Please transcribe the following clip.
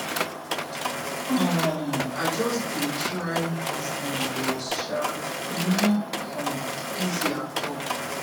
um i just dey try to move on but um e no um easy at all